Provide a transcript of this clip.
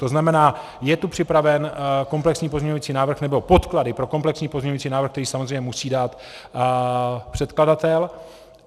To znamená, je tu připraven komplexní pozměňovací návrh, nebo podklady pro kompletní pozměňovací návrh, který samozřejmě musí dát předkladatel.